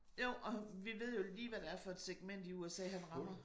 Jo og vi ved jo lige hvad det er for et segment i USA ham rammer